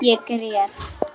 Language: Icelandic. Ég grét.